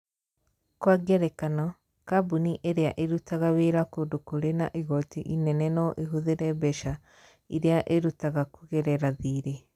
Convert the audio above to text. Kwa ngerekano, kambuni ĩrĩa ĩrutaga wĩra kũndũ kũrĩ na igooti inene no ĩhũthĩre mbeca iria ĩrutaga kũgerera thirĩ.